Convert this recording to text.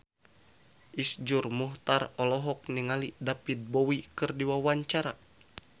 Iszur Muchtar olohok ningali David Bowie keur diwawancara